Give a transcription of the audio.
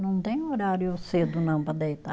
Não tem horário cedo não para deitar.